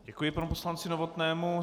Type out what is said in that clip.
Děkuji panu poslanci Novotnému.